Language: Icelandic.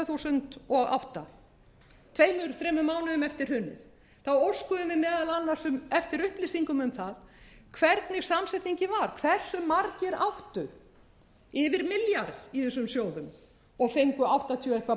þúsund og átta tvö til þremur mánuðum eftir hrunið þá óskuðum við meðal annars eftir upplýsingum um hvernig samsetningin var hvers margir áttu yfir milljarð í þessum sjóðum og fengu áttatíu og eitthvað